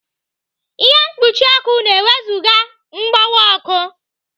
Ihe mkpuchi ọkụ na-ewezụga mgbọwa ọkụ.